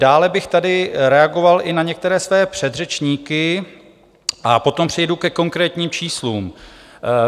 Dále bych tady reagoval i na některé své předřečníky a potom přejdu ke konkrétním číslům.